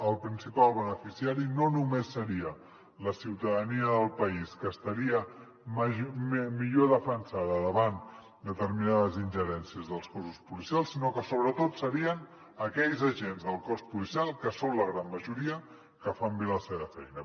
el principal beneficiari no només seria la ciutadania del país que estaria millor defensada davant determinades ingerències dels cossos policials sinó que sobretot serien aquells agents del cos policial que són la gran majoria que fan bé la seva feina